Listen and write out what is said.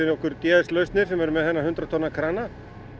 okkur g s lausnir sem eru með þennan hundrað tonna krana